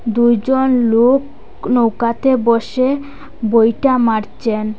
দুইজন লোক নৌকাতে বসে বৈঠা মারছেন।